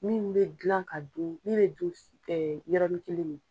Min bɛ gilan ka dun min bɛ dun yɔrɔnin kelen nin